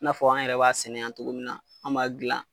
N'a fɔ an yɛrɛ b'a sɛnɛ yan cogo min na an yɛrɛ b'a gilan